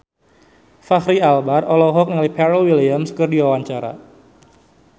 Fachri Albar olohok ningali Pharrell Williams keur diwawancara